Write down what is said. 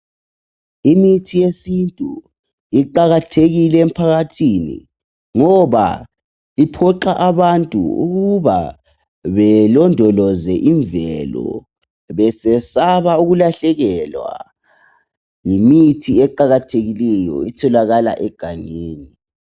Imithi yesintu iqakathekile emphakathini ngoba iphuqa abantu ukuba belondoloze imvelo besesaba ukulahlekelwa yimithi eqakathekileyo etholakala egangeni